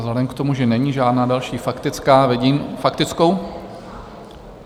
Vzhledem k tomu, že není žádná další faktická - vidím faktickou?